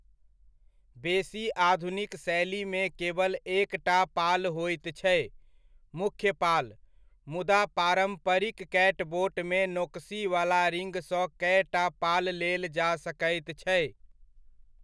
बेसी आधुनिक शैलीमे केवल एकटा पाल होइत छै, मुख्य पाल, मुदा पारम्परिक कैटबोट मे नोकसीवला रिग सँ कएटा पाल लेल जा सकैत छै।